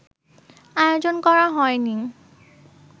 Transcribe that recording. আয়োজন করা হয়নি